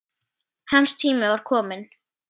Hans tími var kominn.